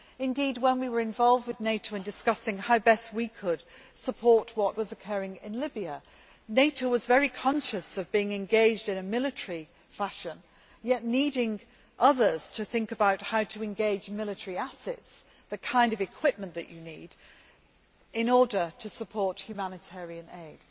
Indeed, when we were involved with NATO in discussing how best we could support what was occurring in Libya, NATO was very conscious of being engaged in a military fashion, yet needing others to think about how to engage military assets, the kind of equipment that you need in order to support humanitarian aid.